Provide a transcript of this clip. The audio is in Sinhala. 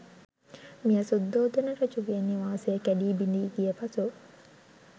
මෙය සුද්ධෝදන රජුගේ නිවාසය කැඩී බිඳීගිය පසු